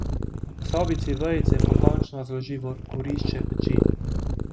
V sobici vejice pokončno zloži v kurišče peči.